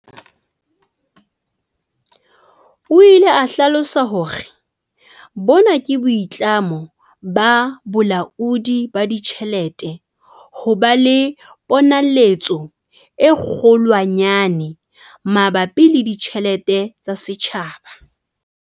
O ile a hlalosa hore, "Bona ke boitlamo ba Bolaodi ba Ditjhelete ho ba le ponaletso e kgolwanyane mabapi le ditjhelete tsa setjhaba."